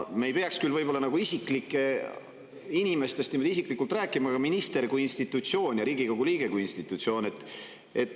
Me ei peaks võib-olla küll inimestest niimoodi isiklikult rääkima, aga ministrist kui institutsioonist ja Riigikogu liikmest kui institutsioonist.